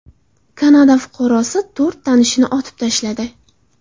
Kanada fuqarosi to‘rt tanishini otib tashladi.